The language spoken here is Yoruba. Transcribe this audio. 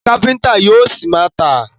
Iṣẹ́ káfíńńtà yóò ṣi máa tà.